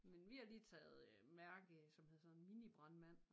Men vi har lige taget mærke som hedder sådan noget minibrandmand